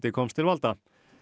komst til valda